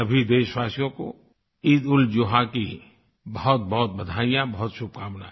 सभी देशवासियों को ईदउलजुहा की बहुतबहुत बधाइयाँ बहुत शुभकामनाएँ